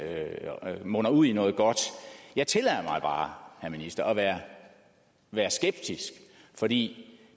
munder ud i noget godt jeg tillader mig bare herre minister at være være skeptisk for det